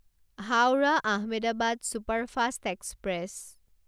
Howrah Ahmedabad superfast express